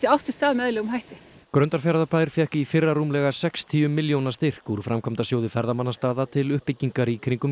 átt sér stað með eðlilegum hætti Grundarfjarðarbær fékk í fyrra rúmlega sextíu milljóna styrk úr framkvæmdasjóði ferðamannastaða til uppbyggingar í kringum